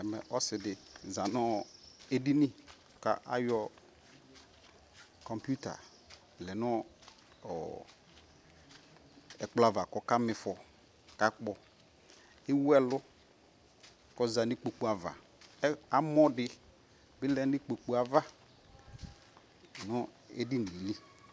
Ɛmɛ ɔsi di za nɔ ɛdini ka ayɔ kɔmputa lɛ nu ɔkplɔ va kɔka mi fɔ ka kpɔ Ɛwu ɛlu kɔ za nu kpo ava Amɔ di lɛ nu ikpoku ava nu ɛdinie